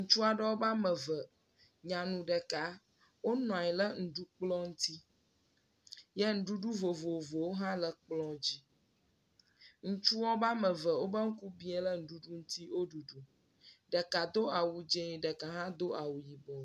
Ŋutsu aɖe ƒe ame ve, nyanu ɖekaa. Wonɔ anyi lɛ nuɖukplɔ̃ ŋti yɛ nuɖuɖu vovovowo hã le kplɔ̃ dzi. Ŋutsuwo be ame ve be ŋku biã lɛ nuɖuɖu ŋti wo ɖuɖum. Ɖeka do awu dzẽ ɖeka hã do awu yibɔ.